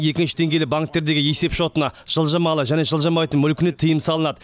екінші деңгейлі банктердегі есепшотына жылжымалы және жылжымайтын мүлкіне тыйым салынады